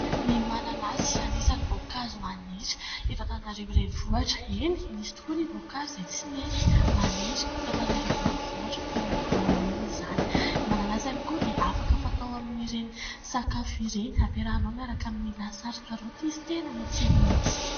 Ny mananasy anisan'ny voankazo maniry eto Antananarivo renivohitra. Eny, misy tokoa ny voankazo izay tsy mety maniry eto Antananarivo renivohitra toy ny voanio izany. Ny mananasy ihany koa dia afaka fatao amin'ireny sakafo ireny, ampiarahinao miaraka amin'ny lasary karaoty izy, tena matsiro mihitsy.